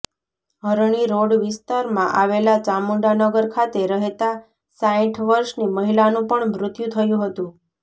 હરણી road વિસ્તારમાં આવેલા ચામુંડાનગર ખાતે રહેતા સાઇઠ વર્ષની મહિલાનું પણ મૃત્યુ થયુ હતુ